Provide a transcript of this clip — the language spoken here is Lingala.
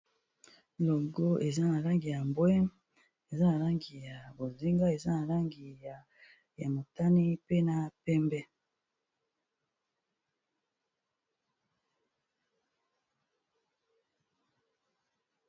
Logo eza na langi ya mbwe, eza na langi ya bozinga, eza na langi ya motani, pe na pembe.